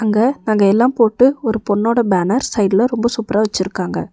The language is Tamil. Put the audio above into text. ங்க நகையெல்லாம் போட்டு ஒரு பொண்ணோட பேனர் சைடுல ரொம்ப சூப்பரா வச்சிருக்காங்க.